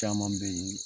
Caman be ye